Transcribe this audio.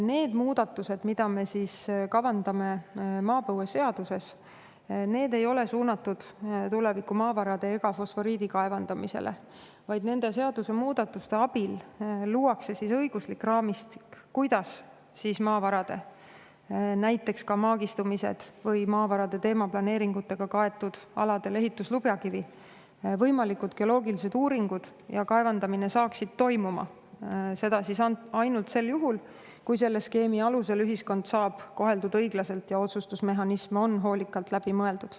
" Need muudatused, mida me kavandame maapõueseaduses, ei ole suunatud tulevikumaavarade ega fosforiidi kaevandamisele, vaid nende seadusemuudatuste abil luuakse õiguslik raamistik, kuidas näiteks maavarade maagistumised või maavarade teemaplaneeringutega kaetud aladel ehituslubjakivi võimalikud geoloogilised uuringud ja kaevandamine hakkaksid toimuma, seda ainult sel juhul, kui selle skeemi alusel koheldakse ühiskonda õiglaselt ja kui otsustusmehhanism on hoolikalt läbi mõeldud.